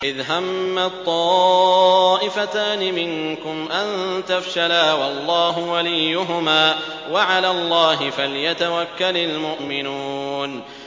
إِذْ هَمَّت طَّائِفَتَانِ مِنكُمْ أَن تَفْشَلَا وَاللَّهُ وَلِيُّهُمَا ۗ وَعَلَى اللَّهِ فَلْيَتَوَكَّلِ الْمُؤْمِنُونَ